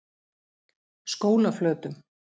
Skólaflötum